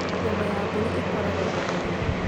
Nyama ya mbũri ĩkoragwo na mũrĩo